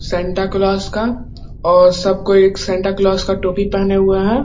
Santa Claus का और सब कोई सेंटा क्लॉस का टोपी पहने हुए हैं।